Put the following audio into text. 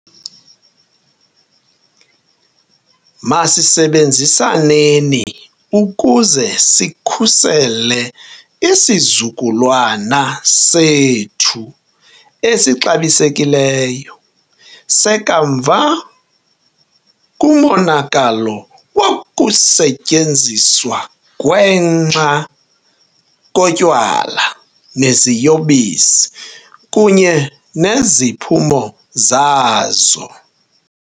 Masisebenzisaneni ukuze sikhusele isizukulwana sethu esixabisekileyo sekamva kumonakalo wokusetyenziswa gwenxa kotywala neziyobisi kunye neziphumo zazo.